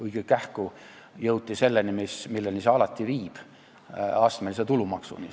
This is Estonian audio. Õige kähku jõuti selleni, milleni see alati viib – astmelise tulumaksuni.